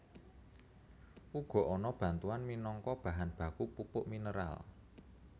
Uga ana batuan minangka bahan baku pupuk mineral